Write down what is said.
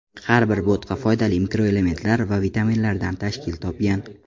Har bir bo‘tqa foydali mikroelementlar va vitaminlardan tashkil topgan.